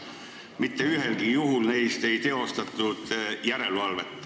Mitte ühelgi juhul neist ei teostatud järelevalvet.